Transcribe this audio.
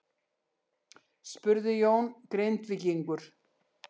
spurði Jón Grindvíkingur.